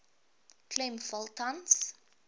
klem val tans